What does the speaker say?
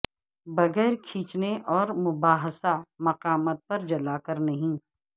بغیر کھینچنے اور مباحثہ مقامات پر جلا کر نہیں